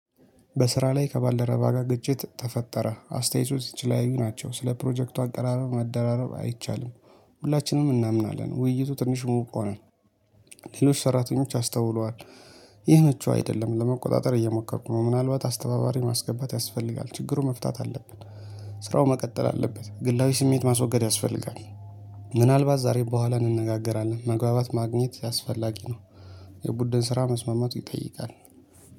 በስራ ላይ ከባልደረባ ጋር ግጭት ተፈጠረ አስተያየቶች የተለያዩ ናቸው ስለ ፕሮጀክቱ አቀራረብ መደራረብ አይቻልም። ሁላችንም እናምናለን ውይይቱ ትንሽ ሙቅ ሆነ። ሌሎች ሰራተኞች አስተውለዋል። ይህ መችው አይደለም ለመቆጣጠር እየሞከርኩ ነው ምናልባት አስተባባሪ ማስገባት ያስፈልጋል ችግሩ መፍታት አለብን። ስራው መቀጠል አለበት ግላዊ ስሜት ማስወገድ ያስፈልጋል። ምናልባት ዛሬ በኋላ እንነጋገራለን መግባባት ማግኘት አስፈላጊ ነው። የቡድን ስራ መስማማቱ ይጠይቃል